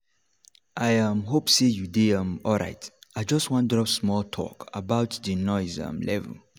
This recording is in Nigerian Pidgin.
i um hope say you dey um alright. i just wan drop small talk about the noise um level.